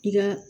I ka